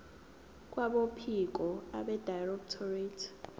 kwabophiko abedirectorate ye